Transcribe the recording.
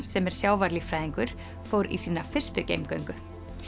sem er sjávarlíffræðingur fór í sína fyrstu geimgöngu